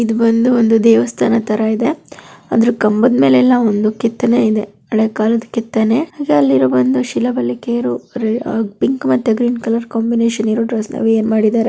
ಇದು ಬಂದು ಒಂದು ದೇವಸ್ಥಾನ ತರ ಇದೆ ಅದರ ಕಂಬದ ಮೇಲೆಲ್ಲಾ ಒಂದು ಕೆತ್ತನೆ ಇದೆ ಹಳೆಯ ಕಾಲದ ಕೆತ್ತನೆ ಮತ್ತೆ ಅಲ್ಲಿರೋ ಒಂದು ಶಿಲಾಬಾಲಿಕೆಯರ ಗ್ರೀನ್ ಕಲರ್ ಕಾಂಬಿನೇಷನ್ ಏನ್ ಮಾಡಿದರೆ.